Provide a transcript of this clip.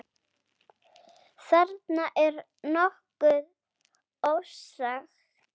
Þarna er nokkuð ofsagt.